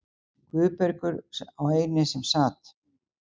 Guðbergur, sá eini sem sat.